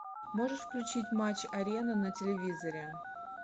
можешь включить матч арена на телевизоре